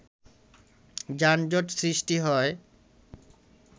যানজট সৃষ্টি হয়